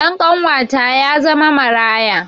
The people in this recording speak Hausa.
Ɗan ƙanuwata ya zama maraya